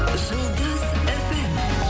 жұлдыз фм